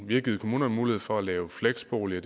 vi har givet kommunerne mulighed for at lave fleksboliger